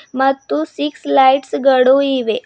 ಮತ್ತು six lights ಗಳು ಇವೆ.